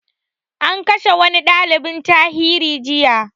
An kashe wani ɗaliban tarihi jiya